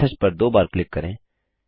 message पर दो बार क्लिक करें